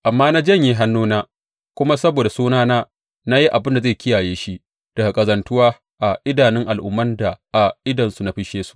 Amma na janye hannuna, kuma saboda sunana na yi abin da zai kiyaye shi daga ƙazantuwa a idanun al’umman da a idonsu na fisshe su.